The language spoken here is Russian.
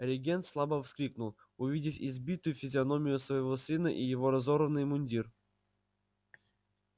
регент слабо вскрикнул увидев избитую физиономию своего сына и его разорванный мундир